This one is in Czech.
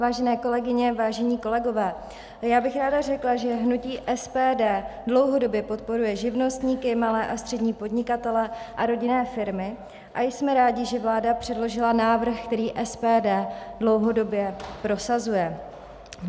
Vážené kolegyně, vážení kolegové, já bych ráda řekla, že hnutí SPD dlouhodobě podporuje živnostníky, malé a střední podnikatele a rodinné firmy a jsme rádi, že vláda předložila návrh, který SPD dlouhodobě prosazuje.